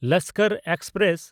Lashkar express